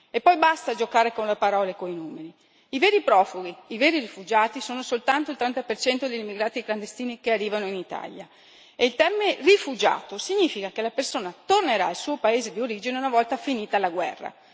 E poi basta giocare con le parole e con i numeri i veri profughi, i veri rifugiati, sono soltanto il 30 degli immigrati clandestini che arrivano in Italia e il termine rifugiato significa che la persona tornerà al suo paese di origine una volta finita la guerra.